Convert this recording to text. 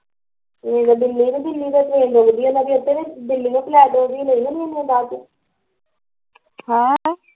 ਦਿੱਲੀ ਨੂੰ ਦਿੱਲੀ ਤੋਂ ਏਨੇ ਵਧੀਆ ਇਹਨਾਂ ਦੀ ਏਧਰ ਈ ਦਿੱਲੀਓ ਫਲੈਟ ਹੋਗੀ